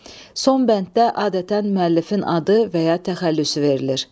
Son bənddə adətən müəllifin adı və ya təxəllüsü verilir.